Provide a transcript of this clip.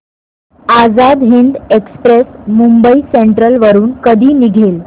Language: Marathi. आझाद हिंद एक्सप्रेस मुंबई सेंट्रल वरून कधी निघेल